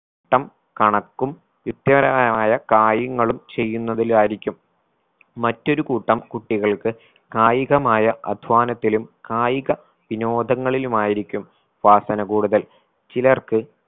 ട്ടം കണക്കും യുക്തിപരമായ കാര്യങ്ങളും ചെയ്യുന്നതിലായിരിക്കും മറ്റൊരു കൂട്ടം കുട്ടികൾക്ക് കായികമായ അധ്വാനത്തിലും കായിക വിനോദങ്ങളിലുമായിരിക്കും വാസന കൂടുതൽ ചിലർക്ക്